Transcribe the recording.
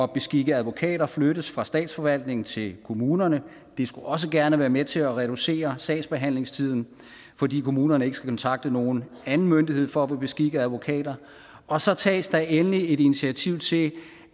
beskikke advokater flyttes fra statsforvaltningen til kommunerne det skulle også gerne være med til at reducere sagsbehandlingstiden fordi kommunerne ikke skal kontakte nogen anden myndighed for at få beskikket advokater og så tages der endelig initiativ til